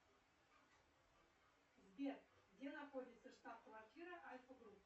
сбер где находится штаб квартира альфа групп